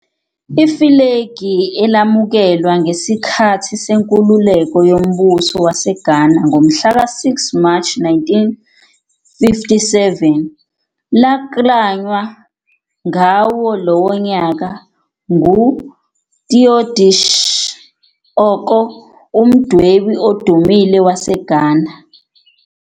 Ifulegi, elamukelwa ngesikhathi senkululeko yoMbuso waseGhana ngomhlaka-6 Mashi 1957, laklanywa ngawo lowo nyaka nguTheodosia Okoh, umdwebi odumile waseGhana.